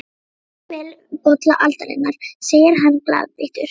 Gerið svo vel, bolla aldarinnar, segir hann glaðbeittur.